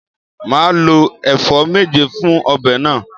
Màá lo èfó méje fun obè náà